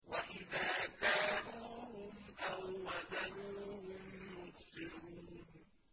وَإِذَا كَالُوهُمْ أَو وَّزَنُوهُمْ يُخْسِرُونَ